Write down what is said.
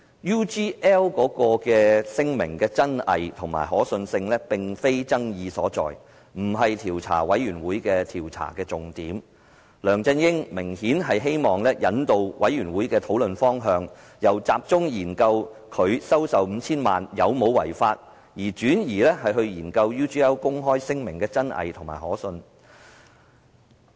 UGL 聲明的真偽和可信性，並非爭議所在，不是專責委員會的調查重點，梁振英明顯希望引導專責委員會的討論方向，由集中研究他收受 5,000 萬元有否違法，轉而研究 UGL 公開聲明的真偽和可信性。